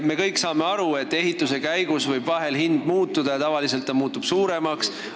Me kõik saame aru, et vahel võib arvestuslik maksumus ehituse käigus muutuda, ja tavaliselt suuremaks.